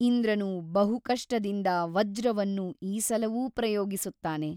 ಇಂದ್ರನು ಬಹು ಕಷ್ಟದಿಂದ ವಜ್ರವನ್ನು ಈ ಸಲವೂ ಪ್ರಯೋಗಿಸುತ್ತಾನೆ.